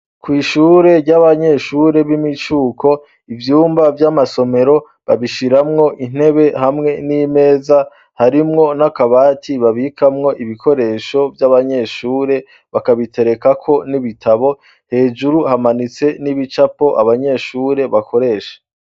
Kw'ishure ry'abanyeshure b'imicuko ibyumba vy'amasomero babishiramwo intebe hamwe n'imeza harimwo n'akabati babikamwo ibikoresho by'abanyeshure bakabitereka ko n'ibitabo hejuru hamanitse n'ibicapo abanyeshure bakoresha.